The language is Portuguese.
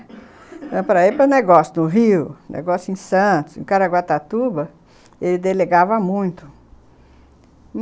Era para ir para o negócio do Rio, negócio em Santos, em Caraguatatuba, ele delegava muito.